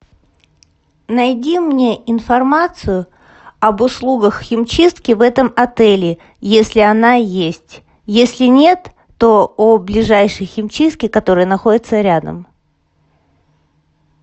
найди мне информацию об услугах химчистки в этом отеле если она есть если нет то о ближайшей химчистке которая находится рядом